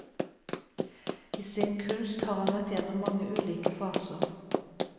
I sin kunst har han vært igjennom mange ulike faser.